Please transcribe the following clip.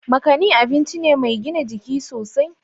Makani abinci ne mai gina jiki sosai.